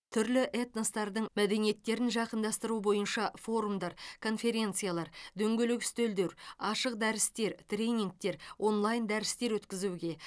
түрлі этностардың мәдениеттерін жақындастыру бойынша форумдар конференциялар дөңгелек үстелдер ашық дәрістер тренингтер онлайн дәрістер өткізуге